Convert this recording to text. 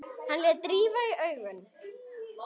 Hann lét rifa í augun.